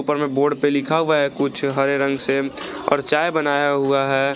ऊपर में बोर्ड पे लिखा हुआ है कुछ हरे रंग से और चाय बनाया हुआ है।